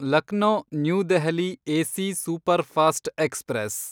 Lucknow New Delhi AC superfast express